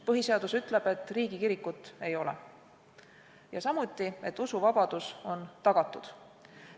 Põhiseadus ütleb, et riigikirikut ei ole, ja samuti, et usuvabadus on tagatud.